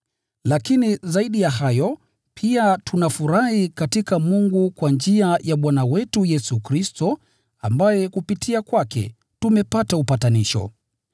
Lakini zaidi ya hayo, pia tunafurahi katika Mungu kwa njia ya Bwana wetu Yesu Kristo, ambaye kupitia kwake tumepata upatanisho.